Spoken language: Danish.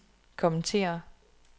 kommentere